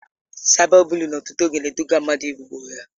Saịba bụliịn ọtụtụ oge na-eduga mmadụ igbu onwe ya.